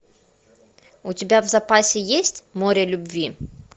у тебя в запасе есть море любви